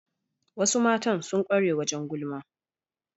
Wasu Matan sun kware wajen gulma